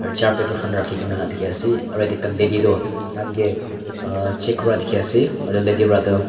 aro char paper khan rakhi gina dikhi asey aro yete ekta lady du thangeh check kura dikhi asey aro lady wra du--